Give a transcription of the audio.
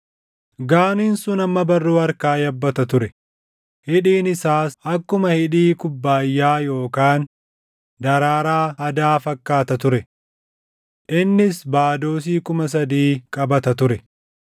Gaaniin sun hamma barruu harkaa yabbata ture; hidhiin isaas akkuma hidhii kubbaayyaa yookaan daraaraa hadaa fakkaata ture. Innis baadoosii kuma sadii qabata ture.